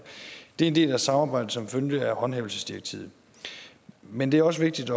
det er en del af samarbejdet som følge af håndhævelsesdirektivet men det er også vigtigt